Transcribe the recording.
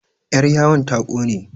yaryawon ta ƙone